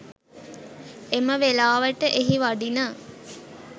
එම වෙලාවට එහි වඩින